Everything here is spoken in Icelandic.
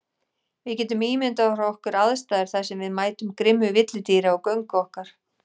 Við getum ímyndað okkar aðstæður þar sem við mætum grimmu villidýri á göngu okkar.